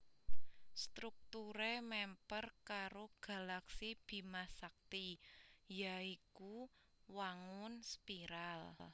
Strukturé mèmper karo galaksi Bima Sakti ya iku wangun spiral